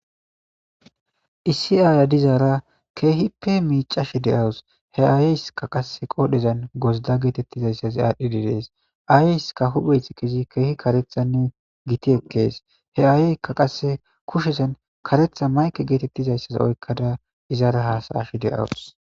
Issi ayiya dizara kehipe michashe dawus he ayisika qasi qodhezan gozida getetizaysa adhidi dees ayeska huphezi kehi karethanne giti ekes he ayeka qase kushezan karetha mayke getetizaysa oykada izata hasa'ashe de'awus.